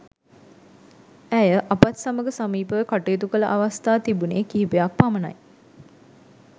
ඇය අපත් සමග සමීපව කටයුතු කළ අවස්ථා තිබුණේ කීපයක් පමණයි.